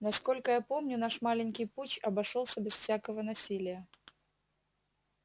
насколько я помню наш маленький путч обошёлся без всякого насилия